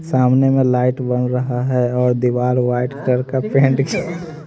सामने में लाइट बन रहा है और दीवार व्हाइट कलर का पेंट --